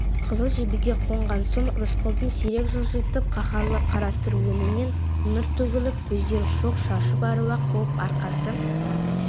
қызыл жебеге қонған соң рысқұлдың сирек жылжитын қаһарлы қарасұр өңінен нұр төгіліп көздері шоқ шашып әруақ буып арқасы